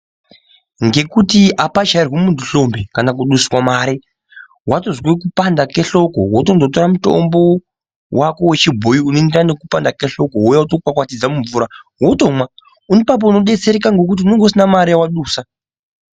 Ngekuti apachairwi muntu hlombe kana kuduswa mare watozwe kupanda kehloko wotondotora mutombo wako wechibhoyi unoenderana nekupanda kehloko wouya wotokwakwatidza mumvura wotomwa ipapo unodetsereka ngokuti unenge usina mare yawadusa.